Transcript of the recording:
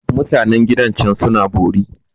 Mutan gidan can suna bori.